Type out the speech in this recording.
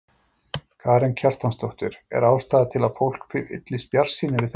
Karen Kjartansdóttir: Er ástæða til að fólk fyllist bjartsýni við þetta?